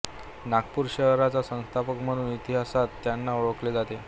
नागपूर शहराचा संस्थापक म्हणून इतिहासात त्यांना ओळखले जाते